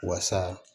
Wasa